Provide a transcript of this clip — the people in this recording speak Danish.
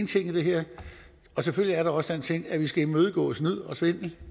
ting i det her selvfølgelig er der også den ting at vi skal imødegå snyd og svindel